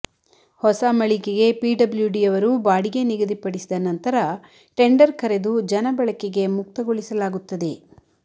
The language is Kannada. ಹೊಸ ಮಳಿಗೆಗೆ ಪಿಡಬ್ಲ್ಯೂಡಿಯವರು ಬಾಡಿಗೆ ನಿಗದಿಪಡಿಸಿದ ನಂತರ ಟೆಂಡರ್ ಕರೆದು ಜನಬಳಕೆಗೆ ಮುಕ್ತಗೊಳಿಸಲಾಗುತ್ತದೆ